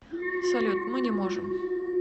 салют мы не можем